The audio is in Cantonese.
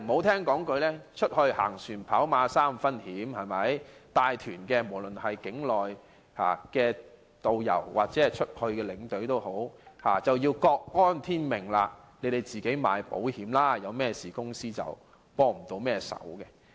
人在外，"行船跑馬三分險"，無論是帶團的境內導遊或境外領隊都要各安天命，自行購買保險，發生問題時公司未能提供協助。